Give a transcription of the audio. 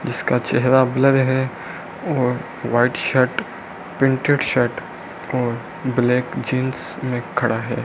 इसका चेहरा ब्लर है और वाइट शर्ट प्रिंटेड शर्ट और ब्लैक जींस में खड़ा है।